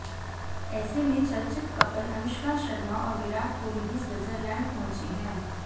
ऐसे में चर्चित कपल अनुष्का शर्मा और विराट कोहली भी स्विट्जरलैंड पहुंचे हैं